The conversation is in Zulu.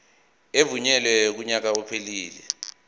evunyelwe kunyaka ophelele